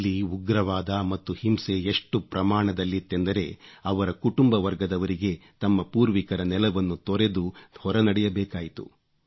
ಅಲ್ಲಿ ಉಗ್ರವಾದ ಮತ್ತು ಹಿಂಸೆ ಎಷ್ಟು ಪ್ರಮಾಣದಲ್ಲಿತ್ತೆಂದರೆ ಅವರ ಕುಟುಂಬವರ್ಗದವರಿಗೆ ತಮ್ಮ ಪೂರ್ವಿಕರ ನೆಲವನ್ನು ತೊರೆದು ಹೊರನಡೆಯಬೇಕಾಯಿತು